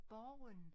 Borgen